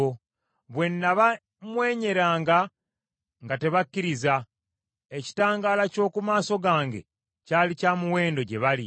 Bwe nabamwenyeranga nga tebakikkiriza; ekitangaala ky’oku maaso gange kyali kya muwendo gye bali.